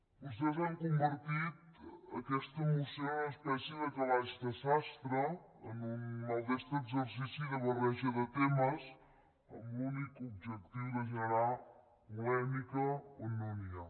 vostès han convertit aquesta moció en una espècie de calaix de sastre en un maldestre exercici de barreja de temes amb l’únic objectiu de generar polèmica on no n’hi ha